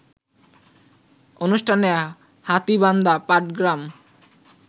অনুষ্ঠানে হাতীবান্ধা-পাটগ্রাম